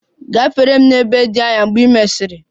Gafere m n'ebe dị anya mgbe ị mesiri!